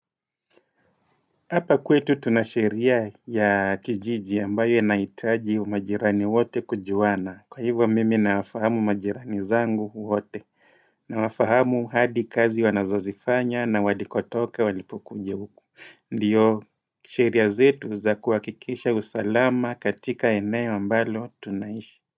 Hapa kwetu tunasheria ya kijiji ambayo enaitaji umajirani wote kujuwana. Kwa hivyo mimi naafahamu majirani zangu wote. Naafahamu hadi kazi wanazozifanya na wadikotoke walipukunjewuku. Ndiyo sheria zetu za kuwakikisha usalama katika eneo mbalo tunaishi.